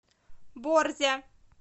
борзя